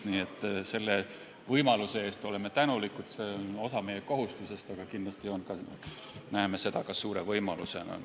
Nii et oleme tänulikud – see on osa meie kohustusest, aga kindlasti näeme seda ka suure võimalusena.